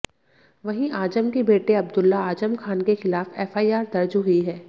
वहीं आजम के बेटे अब्दुल्ला आजम खान के खिलाफ एफआईआर दर्ज हुई है